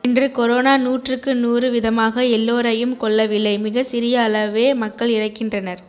இன்று கொரோனா நுாற்றுக்கு நுாறு விதமாக எல்லோரையும் கொல்லவில்லை மிக சிறிய அளவே மக்கள் இறக்கின்றனர்